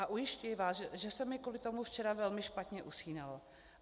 A ujišťuji vás, že se mi kvůli tomu včera velmi špatně usínalo.